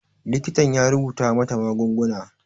Likitan ya rubuta mata magunguna